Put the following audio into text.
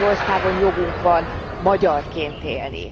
Magyarországon jogunk van magyarként élni.